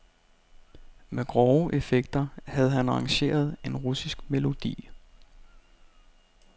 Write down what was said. Med grove effekter havde han arrangeret en russisk melodi.